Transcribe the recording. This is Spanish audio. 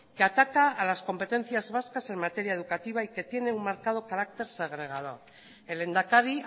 que ataca a las competencias vascas en materia educativa y que tiene un marcado carácter segregador el lehendakari